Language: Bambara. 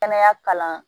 Kɛnɛya kalan